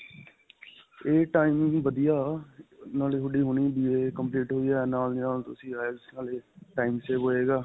ਇਹ time ਵੀ ਵਧੀਆ, ਨਾਲੇ ਤੁਹਾਡੀ ਹੁਣੀ BA complete ਹੋਈ ਹੈ. ਨਾਲ ਦੀ ਨਾਲ ਤੁਸੀਂ IELTS ਨਾਲੇ time save ਹੋਏਗਾ.